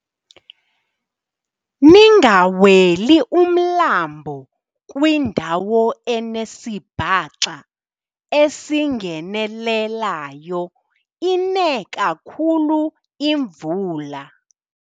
Ningaweli umlambo kwindawo enesibhaxa esingenelelayo ine kakhulu imvula.